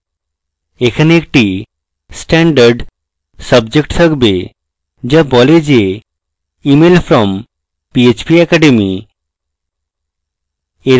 এখানে একটি standard subject থাকবে যা বলে যে email from phpacademy